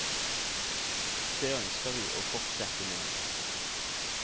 Det ønsker vi å fortsette med.